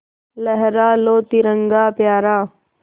लहरा लो तिरंगा प्यारा